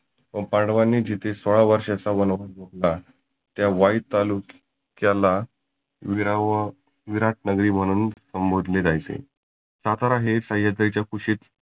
व पांडवांनी जिथे सोळा वर्षाचा वनवास होता त्या वाई तालुक्या क्याला सुरिना व विराट नगरी म्हणून संबोधले जायचे. सातारा हे सह्याद्रीच्या कुशीत